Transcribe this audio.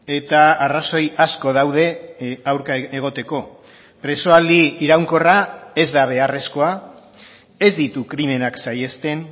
eta arrazoi asko daude aurka egoteko presoaldi iraunkorra ez da beharrezkoa ez ditu krimenak saihesten